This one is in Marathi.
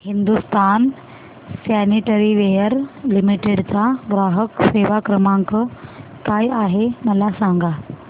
हिंदुस्तान सॅनिटरीवेयर लिमिटेड चा ग्राहक सेवा क्रमांक काय आहे मला सांगा